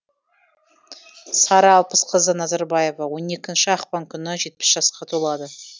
сара алпысқызы назарбаева он екінші ақпан күні жетпіс жасқа толады